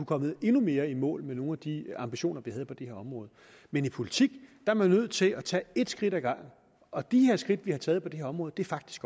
kommet endnu mere i mål med nogle af de ambitioner vi havde på det her område men i politik er man nødt til at tage ét skridt ad gangen og de skridt vi har taget på det her område er faktisk